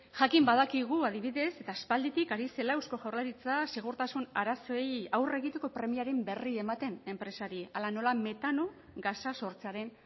jakin badakigu adibidez eta aspalditik ari zela eusko jaurlaritza segurtasun arazoei aurre egiteko premiaren berri ematen enpresari hala nola metano gasa sortzearen